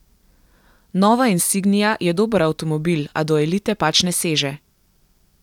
Nova insignia je dober avtomobil, a do elite pač ne seže.